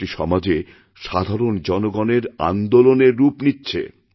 এটি সমাজে সাধারণজনগণের আন্দোলনের রূপ নিচ্ছে